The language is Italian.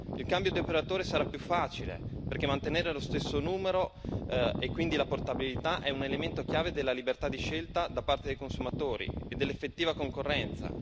Il cambio di operatore sarà più facile, perché mantenere lo stesso numero e quindi la portabilità è un elemento chiave della libertà di scelta da parte dei consumatori e dell'effettiva concorrenza.